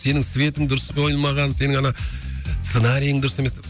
сенің светің дұрыс қойылмаған сенің ана сценариің дұрыс емес